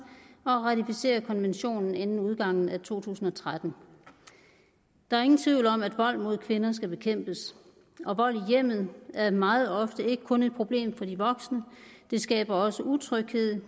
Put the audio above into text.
og at ratificere konventionen inden udgangen af to tusind og tretten der er ingen tvivl om at vold mod kvinder skal bekæmpes og vold i hjemmet er meget ofte ikke kun et problem for de voksne det skaber også utryghed